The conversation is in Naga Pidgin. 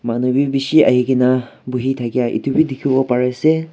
manu bhi bisi ahe kina bohe thakia etu bhi dekhi bo Pari ase.